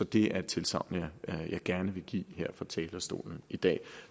det er et tilsagn jeg gerne vil give her fra talerstolen i dag